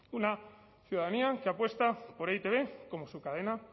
una ciudadanía que apuesta por e i te be como su cadena